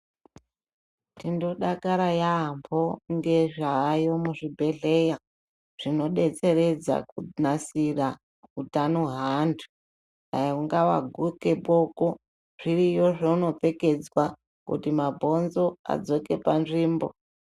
Tinodakara yaamho ngezvayo muzvibhedhleya zvinobetseredza kunasira utano haantu. Dai ungava vaguke boko zviriyo zvaunopfekedzwa kuti mabhonzo adzoke panzvimbo.